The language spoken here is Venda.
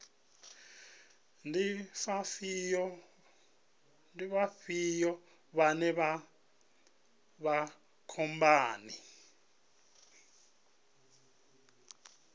ndi vhafhio vhane vha vha khomboni